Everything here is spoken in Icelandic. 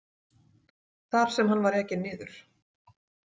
þar sem hann var ekinn niður.